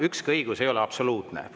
Ükski õigus ei ole absoluutne.